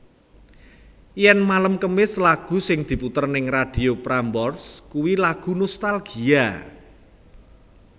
Yen malem kemis lagu sing diputer ning Radio Prambors kui lagu nostalgia